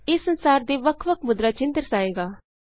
ਇਹ ਸੰਸਾਰ ਦੇ ਵੱਖ ਵੱਖ ਮੁਦਰਾ ਚਿੰਨ੍ਹ ਦਰਸਾਏਗਾ